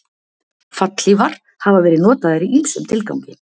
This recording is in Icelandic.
Fallhlífar hafa verið notaðar í ýmsum tilgangi.